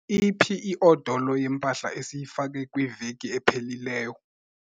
Iphi iodolo yempahla esiyifake kwiveki ephelileyo?